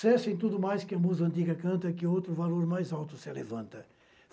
Cessem tudo mais que a musa antiga canta, que outro valor mais alto se levanta.